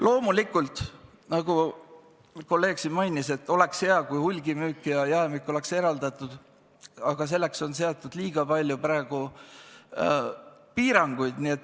Loomulikult, nagu kolleeg siin mainis, oleks hea, kui hulgimüük ja jaemüük on eraldatud, aga selleks on seatud liiga palju piiranguid.